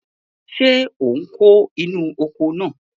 Ṣé ò ń kó inú oko náà?